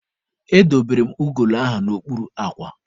Edobere m ugolo ahụ n'okpuru akwa.